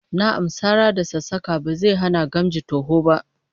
Na'am, sara da sassaka ba zai hana gamji toho ba